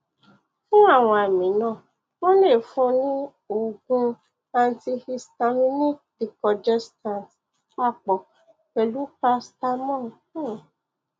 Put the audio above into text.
fún àwọn àmì náà wọn lè fún un ní oògùn antihistaminic decongestant papọ pẹlú paracetamol um